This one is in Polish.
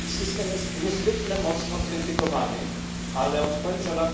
System jest niezwykle mocno krytykowany, ale od końca lat